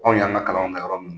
Anw y'an ka kalanw ka yɔrɔ min